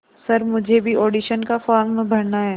sir मुझे भी audition का फॉर्म भरना है